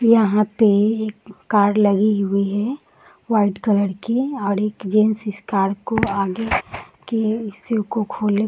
यहाँ पे एक कार लगी हुई है वाइट कलर की और एक जेंट्स इस कार को आगे के हिस्से को खोले --